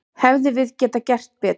Hefðum við getað gert betur?